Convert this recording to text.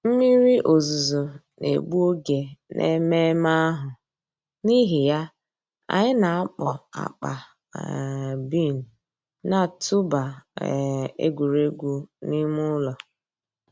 Mmírí òzùzọ̀ nà-ègbù ògè n'èmẹ̀mmẹ̀ àhụ̀, n'ìhì yà, ànyị̀ nà-àkpọ̀ àkpà um bean nà-̀tụ̀bà um ègwè́ré́gwụ̀ n'ìmè ǔlọ̀.